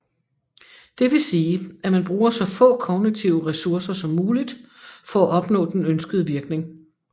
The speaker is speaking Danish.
Det vil sige at man bruger så få kognitive ressourcer som muligt for at opnå den ønskede virkning